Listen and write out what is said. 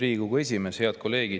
Head kolleegid!